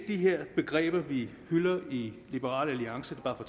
de her begreber vi hylder i liberal alliance bare for